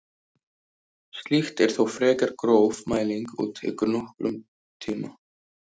Slíkt er þó frekar gróf mæling og tekur nokkurn tíma.